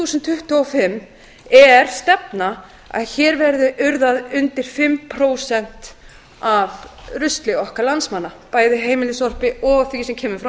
þúsund tuttugu og fimm er stefna að hér verði urðað undir fimm prósentum af rusli okkar landsmanna bæði heimilissorpi og því sem kemur frá